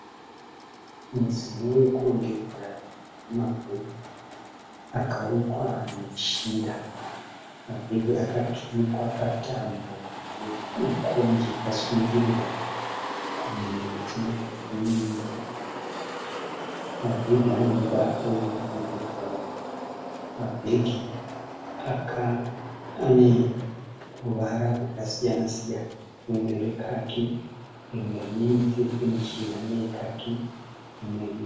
Mudziyo yekurongedzera yema bhegi akarukwa neshinda. Mabhegi akaturikwa patambo yekonje yakasungirirwa pamiti miviri. Mabhegi ane mibato yerudzi rwe bhurauni. Mabhegi aneruva rwakasiyana siyana rumwe rekaki rimwe rine mutsetse muchena neyekaki imwee